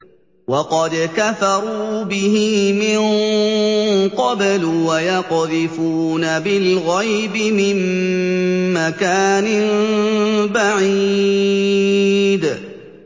وَقَدْ كَفَرُوا بِهِ مِن قَبْلُ ۖ وَيَقْذِفُونَ بِالْغَيْبِ مِن مَّكَانٍ بَعِيدٍ